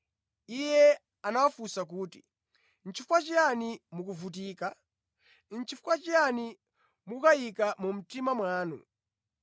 Iye anawafunsa kuti, “Nʼchifukwa chiyani mukuvutika? Nʼchifukwa chiyani mukukayika mu mtima mwanu?